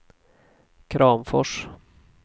Kramfors